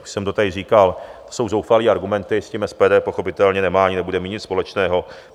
Už jsem to tady říkal, to jsou zoufalé argumenty, s tím SPD pochopitelně nemá ani nebude mít nic společného.